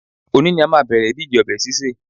Òní ni a máa bẹ̀rẹ̀ ìdíje ọbẹ̀ sísè